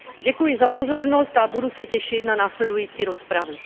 Děkuji za pozornost a budu se těšit na následující rozpravu.